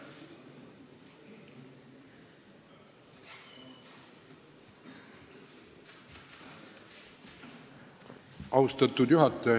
Austatud juhataja!